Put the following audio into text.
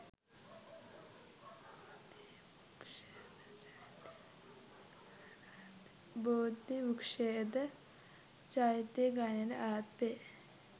බෝධිවෘක්‍ෂයද චෛත්‍ය ගණයට අයත් වේ.